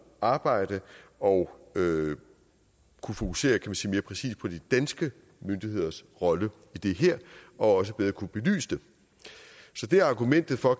arbejde og kunne fokusere kan man sige mere præcis på de danske myndigheders rolle i det her og også bedre kunne belyse det så det er argumentet for